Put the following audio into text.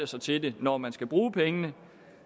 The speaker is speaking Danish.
sig til det når man skal bruge pengene